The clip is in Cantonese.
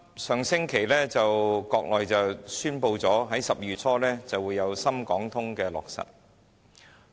上星期，國內宣布"深港通"將於12月初落實。